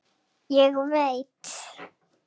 Ég veit